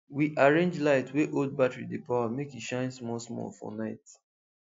we arrange light wey old battery dey power make e shine smallsmall for night